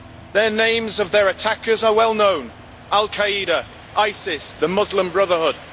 The names of their attackers are well known Al Qaeda, ISIS, the Muslim Brotherhood.